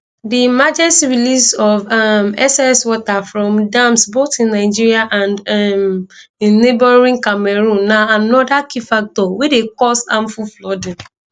di emergency release of um excess water from dams both in nigeria and um in neighbouring cameroon na anoda key factor wey dey cause harmful flooding